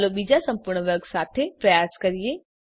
ચાલો બીજા સંપૂર્ણ વર્ગ સાથે પ્રયાસ કરીએ